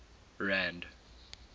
rand